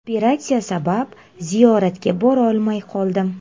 Operatsiya sabab ziyoratga borolmay qoldim.